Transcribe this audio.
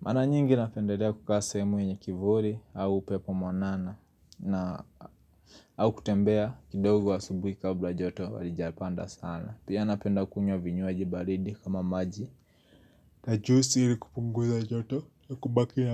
mara nyingi napendelea kukaa sehemu yenye kivuli au upepo mwanana na au kutembea kidogo asubuhi kabla joto halijapanda sana pia napenda kunywa vinywaji baridi kama maji na juisi ili kupunguza joto ya kubaki ya.